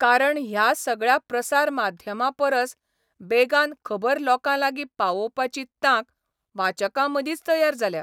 कारण ह्या सगळ्या प्रसार माध्यमांपरस बेगान खबर लोकांलागीं पावोवपाची तांक वाचकांमदींच तयार जाल्या.